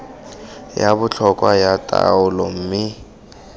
ya botlhokwa ya taolo mme